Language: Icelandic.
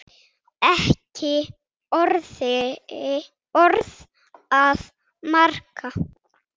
Ekki orð að marka.